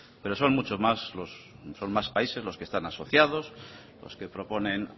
pero son muchos más países los que están asociados los que proponen